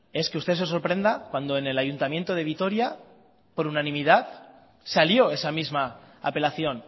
es que usted se sorprenda cuando en el ayuntamiento de vitoria por unanimidad salió esa misma apelación